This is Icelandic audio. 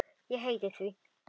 Ég heiti því.